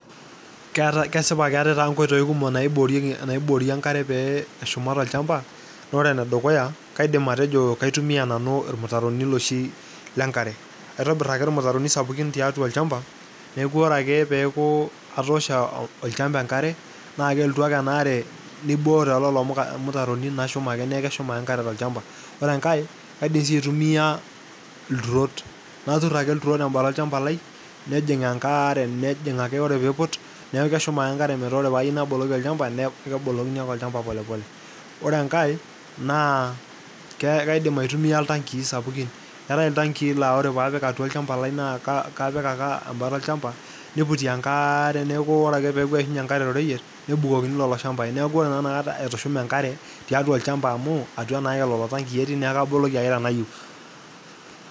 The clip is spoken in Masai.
Kesipa keatae taata inkoitoii kumok naiboori inkare peeshuma te olchamba, naa ore ene dukuya kaidim atejo kaiitumiiya nanu irmitaroni loshii lenkare, aitobirr ake irmitaroni sapukin tiatua ilchamba neaku ore ake peaku atoosho olchamba enkare naa kelotu ake enaare neibooyo lelo irmitaroni naa ekeshuma ake inkare tolshamba, ore ikae kaidim sii aitumiiya irturot, naturr ake irturrot te mbata orshamba lai nejing' enkare ore peiput neaku keshuma ake inkare pataa ore paaayeu naboloki olchamba naaku kebolokini ake olchamba polepole ,ore enkae naa ekaidim aitumiya iltangii sapukin, eate oltangii naa ore paapik atua ilchamba lai naa kapik ake ebata olchamba neiputi enkare neaku ore ake peaku eishunye inkare te roroyiet nebukokini lelo shambai naaku ore naa inakata etsushume enkare teatu olchamba amuu atua naake lelo tangii etii naa kaboloki ake tenayeu.